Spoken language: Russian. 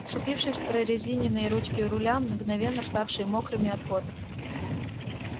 вцепившись в прорезиненные ручки руля мгновенно ставшие мокрыми от пота